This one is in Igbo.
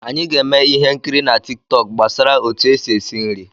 Anyị ga-eme ihe nkiri na Tik tọk gbasara otu esi esi nri.